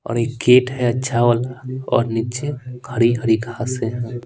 और एक गेट है अच्छा वाला और नीचे हरी-हरी घासे हैं।